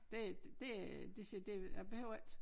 Det det det siger det jeg behøver ikke